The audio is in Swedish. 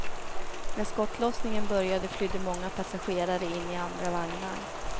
När skottlossningen började flydde många passagerare in i andra vagnar.